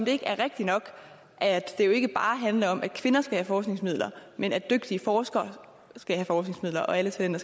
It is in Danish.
det ikke er rigtig nok at det jo ikke bare handler om at kvinder skal have forskningsmidler men at dygtige forskere skal have forskningsmidler og at alle talenter